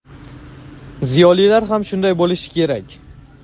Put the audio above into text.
Ziyolilar ham shunday bo‘lishi kerak.